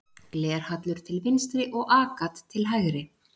Glerhallur til vinstri og agat til hægri.